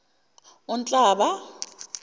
unhlaba